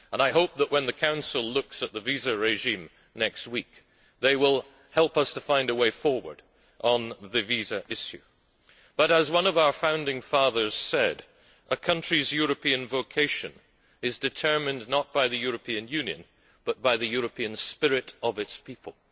I hope that when the Council looks at the visa regime next week it will help us to find a way forward on the visa issue. As one of our founding fathers said, a country's European vocation is determined not by the European Union but by the European spirit of its people.